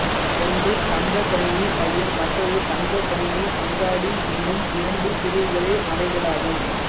ஒன்று தங்கக் கணினி மையம் மற்றது தங்கக் கணினி அங்காடி எனும் இரண்டு பிரிவுகளே அவைகளாகும்